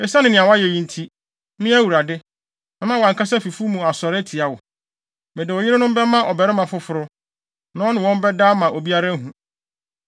“Esiane nea woayɛ yi nti, me Awurade, mɛma wʼankasa fi mufo asɔre atia wo. Mede wo yerenom bɛma ɔbarima foforo, na ɔne wɔn bɛda ama obiara ahu.